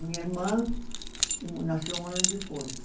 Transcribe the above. Minha irmã, um nasceu um ano depois.